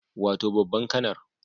Wato babban kanar